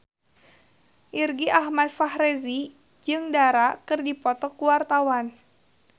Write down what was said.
Irgi Ahmad Fahrezi jeung Dara keur dipoto ku wartawan